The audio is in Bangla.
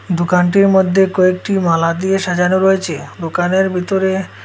দুকানটির মদ্যে কয়েকটি মালা দিয়ে সাজানো রয়েচে দুকানের বিতরে--